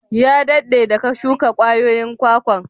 Ya dadde da ka shuka kwayoyin kwakwan?